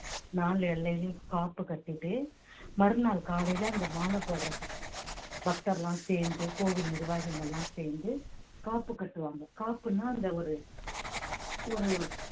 நாலு எல்லையிலேயும் காப்பு கட்டிட்டு மறுநாள் காலையிலே அந்த மாலை போடுறது பக்தர் எல்லாம் சேர்ந்து கோவில் நிர்வாகிகள் எல்லாம் சேர்ந்து காப்பு கட்டுவாங்க காப்புன்னா அந்த ஒரு ஒரு